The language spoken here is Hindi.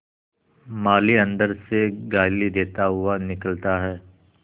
माली अंदर से गाली देता हुआ निकलता है